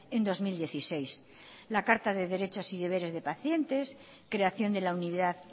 en dos mil dieciséis la carta de derechos y deberes de pacientes creación de la unidad